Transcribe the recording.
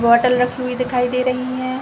बोतले राखी हुयी दिखाई दे है।